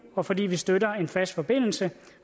og fordi vi støtter en fast forbindelse